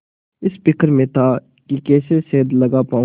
इस फिक्र में था कि कैसे सेंध लगा पाऊँ